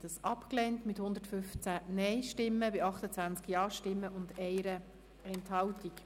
Sie haben die Ziffer 2 abgelehnt mit 115 Nein- zu 28 Ja-Stimmen bei 1 Enthaltung.